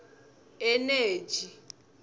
eneji